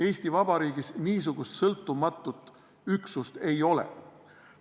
Eesti Vabariigis niisugust sõltumatut üksust ei ole.